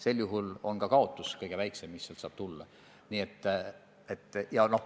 Sel juhul on ka kaotus, mis võib tulla, kõige väiksem.